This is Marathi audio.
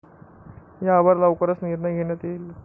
यावर लवकरच निर्णय घेण्यात येईल.